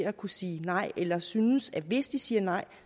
at kunne sige nej eller synes at hvis de siger nej